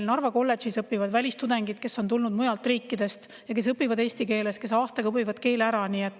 Narva kolledžis õpivad välistudengid, kes on tulnud mujalt riikidest ja õpivad eesti keeles, nad on aastaga keele ära õppinud.